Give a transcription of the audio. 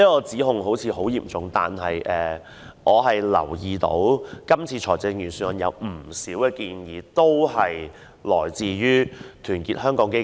這項質疑似乎頗嚴重，可是，我留意到這次預算案有不少建議均來自團結香港基金。